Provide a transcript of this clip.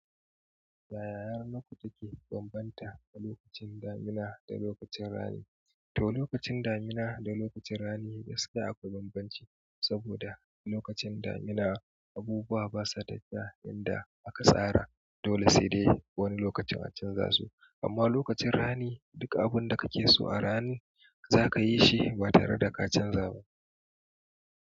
Yaya yanar gizo ke bambanta tsakanin lokacin damina da lokacin rani? To, lokacin damina da lokacin rani gaskiya akwai bambanci, saboda lokacin damina, abubuwa basa yadda inda aka tsara, dole sai dai wani lokacin a canza su. Amma lokacin rani, duka abun da kake so a rani zakayi shi ba tare da ka canza ba.